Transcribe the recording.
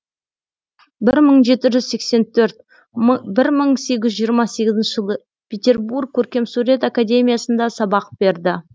бір мың жеті жүз сексен төрт бір мың сегіз жүз жиырма сегізінші жылы петербург көркемсурет академиясында сабақ берді